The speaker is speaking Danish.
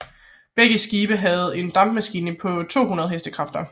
Begge skibe havde en dampmaskine på 200 Hk